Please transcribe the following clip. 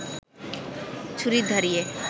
ছুরি ধারিয়ে